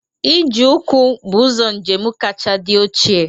Ije ụkwụ be ụzọ njem kacha dị ochie